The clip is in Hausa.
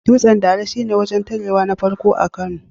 Dutsen Dala shi ne wurin tarewa na farko a Kano.